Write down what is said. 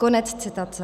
- Konec citace.